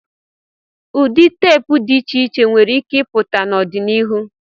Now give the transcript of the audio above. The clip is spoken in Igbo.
Ụdị teepu dị iche iche nwere ike ịpụta n'ọdịnihu.